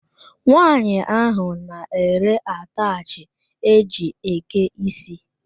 Nwanyi ahụ na ere ataachi e jị eke isi.